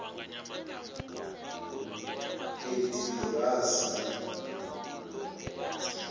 petirasi